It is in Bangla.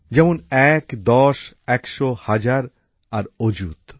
যেমন এক দশ একশ হাজার আর অযুত